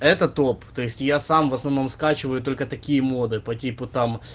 это топ то есть я сам в основном скачиваю только такие моды такие типо там